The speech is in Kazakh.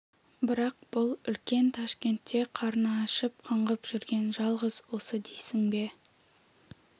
бірақ бұл үлкен ташкентте қарны ашып қаңғып жүрген жалғыз осы дейсің бе